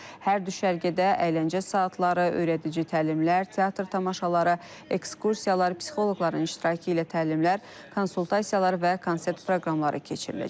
Hər düşərgədə əyləncə saatları, öyrədici təlimlər, teatr tamaşaları, ekskursiyalar, psixoloqların iştirakı ilə təlimlər, konsaltasiyalar və konsert proqramları keçiriləcək.